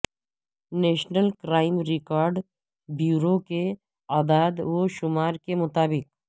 national crime record بیوروکے اعداد و شمار کے مطابق